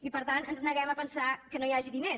i per tant ens neguem a pensar que no hi hagi diners